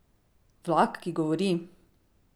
Vlak, ki govori?